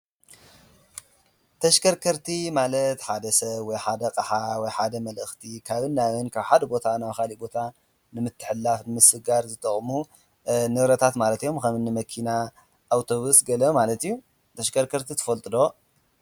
ተሽከርከርቲ ማለት ሓደ ሰብ ወይ ሓደ ኣቕሓ ወይ ሓደ መልእኽቲ ካብ ናብን ካብ ሓደ ቦታ ናብ ኻሊእ ቦታ ንምትሕልላፍ ምስጋር ዝተቕሙ ንብረታት ማለት እዮም፡፡ ከምኒ መኪና፣ ኣውቶብስ ገለ ማለት እዩ፡፡ ተሽከርከርቲ ትፈልጡ ዶ?